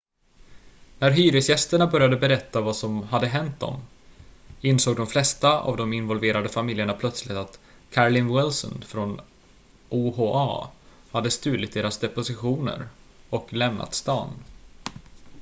när hyresgästerna började berätta vad som hade hänt dem insåg de flesta av de involverade familjerna plötsligt att carolyn wilson från oha hade stulit deras depositioner och lämnat staden